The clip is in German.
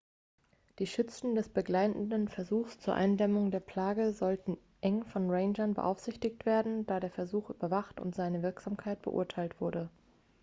die schützen des begleitenden versuchs zur eindämmung der plage sollten eng von rangern beaufsichtigt werden da der versuch überwacht und seine wirksamkeit beurteilt wurde